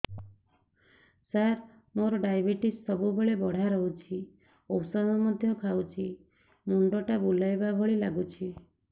ସାର ମୋର ଡାଏବେଟିସ ସବୁବେଳ ବଢ଼ା ରହୁଛି ଔଷଧ ମଧ୍ୟ ଖାଉଛି ମୁଣ୍ଡ ଟା ବୁଲାଇବା ଭଳି ଲାଗୁଛି